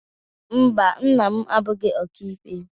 Mba, nna m abụghị ọka ikpe.